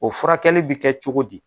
O furakɛli bi kɛ cogo di ?